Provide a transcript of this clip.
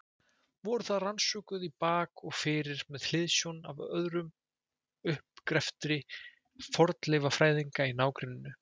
Voru þau rannsökuð í bak og fyrir með hliðsjón af öðrum uppgreftri fornleifafræðinga í nágrenninu.